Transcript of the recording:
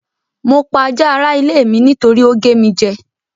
Mo pa ajá ara ilé mi nítorí ó gé mi jẹ́.